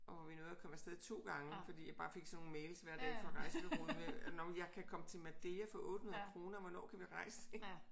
Og vi nåede at komme afsted 2 gange fordi jeg bare fik sådan nogle mails hver dag fra rejsebureauer nåh men jeg kan komme til Madeira for 800 kroner hvornår kan vi rejse ik